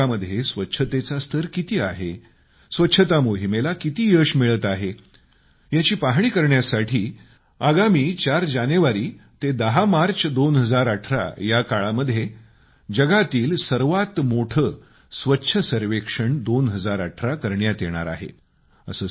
शहरी भागामध्ये स्वच्छतेचा स्तर किती आहे स्वच्छता मोहिमेला किती यश मिळत आहे याची पाहणी करण्यासाठी आगामी 4 जानेवारी ते 10 मार्च 2018 या काळामध्ये जगातील सर्वात मोठे स्वच्छ सर्वेक्षण 2018 करण्यात येणार आहे